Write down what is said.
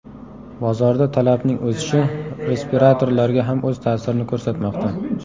Bozorda talabning o‘sishi respiratorlarga ham o‘z ta’sirini ko‘rsatmoqda.